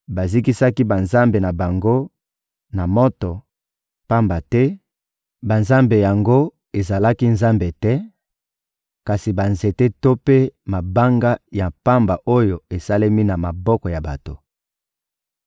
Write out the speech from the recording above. Bazikisaki banzambe na bango na moto, pamba te banzambe yango ezalaki Nzambe te, kasi banzete to mpe mabanga ya pamba oyo esalemi na maboko ya bato.